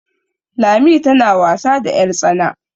Lami tana wasa da yartsana